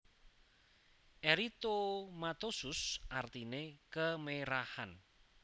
Eritomatosus artine kemerahan